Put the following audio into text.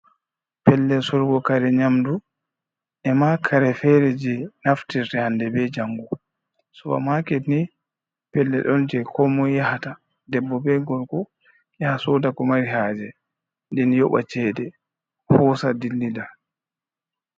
Pellel surgokare nyamdu e makare fere je naftire hande be jangu supa maket ni pellel don je komo yahata debbo be gorgo yaha sodako mari haje den yoɓa cede hosa dillida.